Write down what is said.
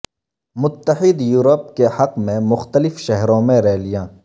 متحد یوروپ کے حق میں مختلف شہروں میں ریالیاں